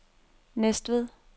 Næstved